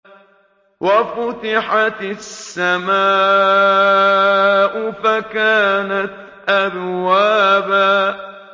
وَفُتِحَتِ السَّمَاءُ فَكَانَتْ أَبْوَابًا